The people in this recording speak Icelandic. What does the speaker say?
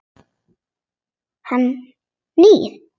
Hann nýr.